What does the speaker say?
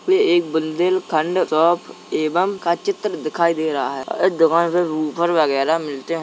वे एक बुन्देलखण्ड शॉप एवं का चित्र दिखाई दे रहा है। अ दुकान पे वुफर वगैरा मिलते हैं।